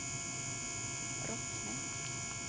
Rottne